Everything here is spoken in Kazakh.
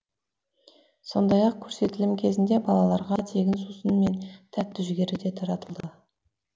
сондай ақ көрсетілім кезінде балаларға тегін сусын мен тәтті жүгері де таратылды